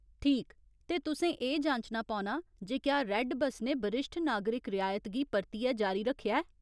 ठीक, ते तुसें एह् जांचना पौना जे क्या रैड्ड बस्स ने बरिश्ठ नागरिक रियायत गी परतियै जारी रक्खेआ ऐ।